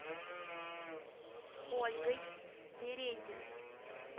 ольгой березиной